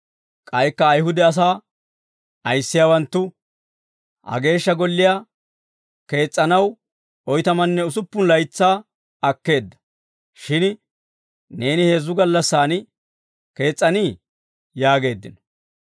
K'aykka Ayihude asaa ayissiyaawanttu, «Ha Geeshsha Golliyaa kees's'anaw oytamanne usuppun laytsaa akkeedda; shin neeni heezzu gallassaan kees's'anii?» yaageeddino.